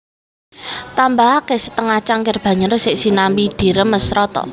Tambahaké setengah cangkir banyu resik sinambi diremes rata